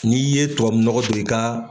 N' ye tubabu nɔgɔ don i kaaa.